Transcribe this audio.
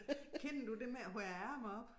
Kender du det med at høje æ ærme op?